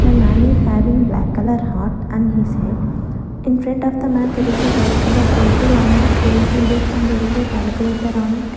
the man is having black color hat on his head infront of the man there is a white color table on that there is a book and there is a calculator on it.